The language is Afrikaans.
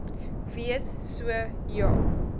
wees so ja